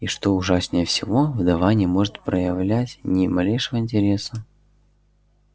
и что ужаснее всего вдова не может проявлять ни малейшего интереса